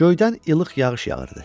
Göydən ilıq yağış yağırdı.